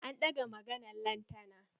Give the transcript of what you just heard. An ɗaga maganan lantana.